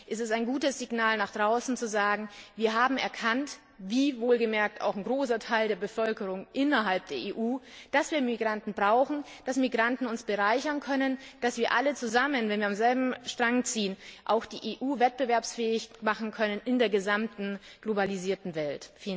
Es ist ein gutes Signal nach außen zu sagen, wir haben erkannt wie wohlgemerkt auch ein großer Teil der Bevölkerung innerhalb der EU dass wir Migranten brauchen, dass Migranten uns bereichern können, dass wir alle zusammen, wenn wir am selben Strang ziehen, auch die EU wettbewerbsfähig machen können in der globalisierten Welt.